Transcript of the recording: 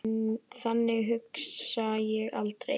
Þannig hugsa ég aldrei.